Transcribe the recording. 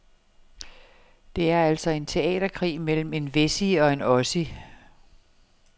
Det er altså en teaterkrig mellem en wessie og en ossie.